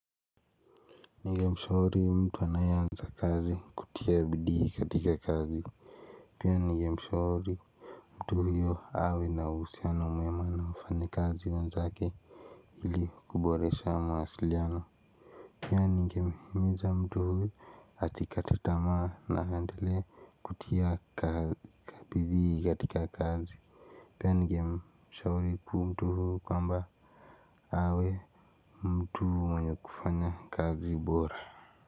Ningemshauri mtu anayeanza kazi kutia bidii katika kazi. Pia ningemshauri mtu huyo awe na uhusiano mwema na wafanyi kazi wenzake ili kuboresha mawasiliano. Pia ningemhimiza mtu huyo asikate tamaa na aendele kutia bidii katika kazi. Pia ningemshauri mtu huyu kwamba awe mtu mwenye kufanya kazi bora.